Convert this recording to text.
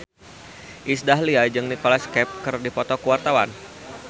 Iis Dahlia jeung Nicholas Cafe keur dipoto ku wartawan